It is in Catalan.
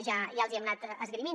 ja els hi hem anat esgrimint